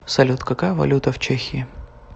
салют какая валюта в чехии